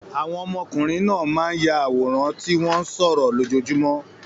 Àwọn ọmọkùnrin náà máa ń ya àwòrán tí wọ́n ń sọ̀rọ̀ lójoojúmọ́.